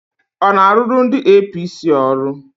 Ọ na-arụrụ ndị APC ọrụ?